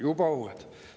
Juba uued.